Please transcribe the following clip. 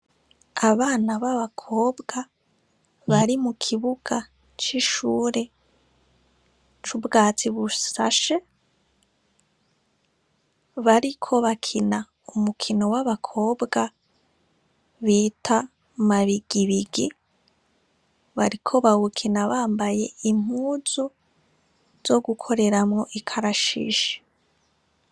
Abana b'abakobwa bari mukibuga c'ishuri c'ubwatsi busashe bariko bakina umukino w'abakobwa bita mabigibigi. Bariko bawukina bambaye impuzu zogukoreramwo ikarashishi.